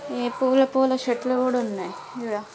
హే పూల-పూల షర్ట్స్ కూడా ఉన్నాయి ఇడ--